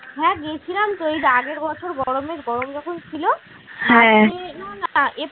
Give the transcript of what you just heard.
হ্যাঁ গেছিলাম তো এইযে আগের বছর গরমের গরম যখন ছিল আহ